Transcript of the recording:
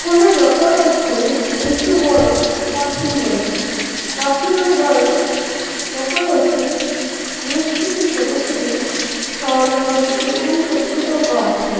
এখনে দেখা যাচ্ছে একটি বড় পাঁচিল রয়েছে পাঁচিলের গায়ে দেখা যাচ্ছে বেশ কিছু ছোট ছোট শ্যাওলা পড়েছে এবং ছোট ছোট গাছ রয়ে --